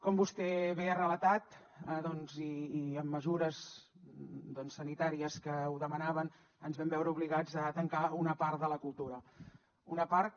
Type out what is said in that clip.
com vostè bé ha relatat doncs i amb mesures sanitàries que ho demanaven ens vam veure obligats a tancar una part de la cultura una part que